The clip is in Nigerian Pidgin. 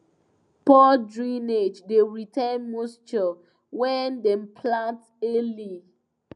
poor drainage dey retain moisture when dem plant early